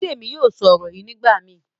Bidemi yóò sọ ọrọ yíì nigbamii.